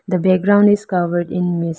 the background is covered in mist.